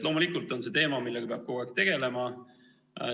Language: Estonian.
Loomulikult on see teema, millega peab kogu aeg tegelema.